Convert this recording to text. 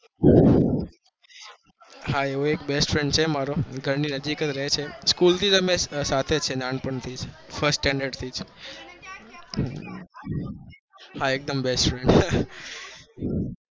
હા એવો એક best friend છે મારો ઘર ની નજીક રહે છે, school થી સાથે છે નાનપણ થી first standard થી જ, હા એક દમ best friend છે.